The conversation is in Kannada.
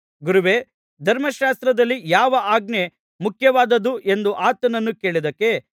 ಗುರುವೇ ಧರ್ಮಶಾಸ್ತ್ರದಲ್ಲಿ ಯಾವ ಆಜ್ಞೆ ಮುಖ್ಯವಾದದ್ದು ಎಂದು ಆತನನ್ನು ಕೇಳಿದ್ದಕ್ಕೆ